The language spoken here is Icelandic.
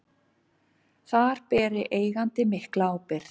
Þar beri eigandi mikla ábyrgð.